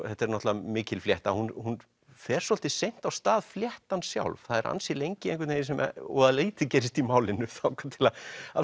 þetta er náttúrulega mikil flétta hún hún fer svolítið seint af stað fléttan sjálf það er ansi lengi sem voða lítið gerist í málinu þangað til að